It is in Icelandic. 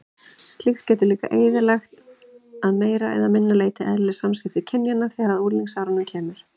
Slíkt getur líka eyðilagt að meira eða minna leyti eðlileg samskipti kynjanna þegar unglingsárunum lýkur.